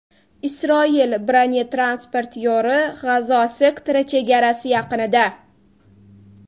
Isroil bronetransportyori G‘azo sektori chegarasi yaqinida.